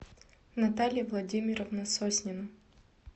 наталья владимировна соснина